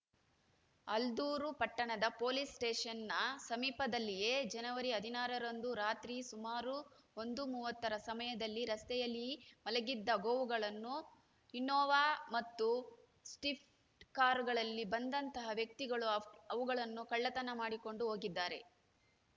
ಆಲ್ದೂರು ಪಟ್ಟಣದ ಪೋಲಿಸ್‌ ಸ್ಟೇಷನ್‌ನ ಸಮೀಪದಲ್ಲಿಯೇ ಜನವರಿ ಹದಿನಾರರಂದು ರಾತ್ರಿ ಸುಮಾರು ಒಂದು ಮೂವತ್ತರ ಸಮಯದಲ್ಲಿ ರಸ್ತೆಯಲ್ಲಿ ಮಲಗಿದ್ದ ಗೋವುಗಳನ್ನು ಇನ್ನೋವಾ ಮತ್ತು ಸ್ಟಿಫ್ ಕಾರುಗಳಲ್ಲಿ ಬಂದಂತಹ ವ್ಯಕ್ತಿಗಳು ಅವುಗಳನ್ನು ಕಳ್ಳತನ ಮಾಡಿಕೊಂಡು ಹೋಗಿದ್ದಾರೆ